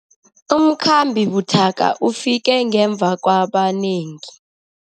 Umkhambi buthaka ufike ngemva kwabanengi.